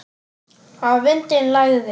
Að vindinn lægði.